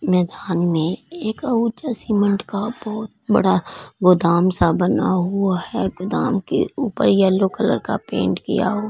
मैदान में एक अहूजा सीमेंट का बहोत बड़ा गोदाम सा बना हुआ है गोदाम के ऊपर येलो कलर का पेंट किया हु--